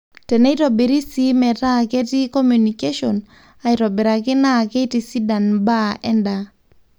teneitobiri sii metaa ketii communication aitobiraki naa keitisidan mbaa endaa